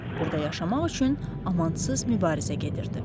Burda yaşamaq üçün amansız mübarizə gedirdi.